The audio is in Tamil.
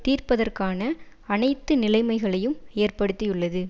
தீர்ப்பதற்கான அனைத்து நிலைமைகளையும் ஏற்படுத்தியுள்ளது